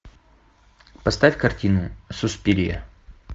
поставь картину суспирия